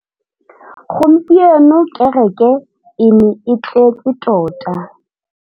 Gompieno kêrêkê e ne e tletse tota.